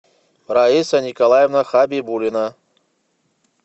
раиса николаевна хабибуллина